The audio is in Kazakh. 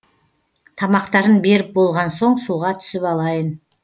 тамақтарын беріп болған соң суға түсіп алайын